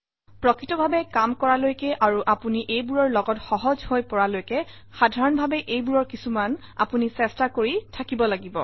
প্ৰকৃতভাৱে কাম কৰালৈকে আৰু আপুনি এইবোৰৰ লগত সহজ হৈ পৰালৈকে সাধাৰণভাৱে এইবোৰৰ কিছুমান আপুনি চেষ্টা কৰি থাকিব লাগিব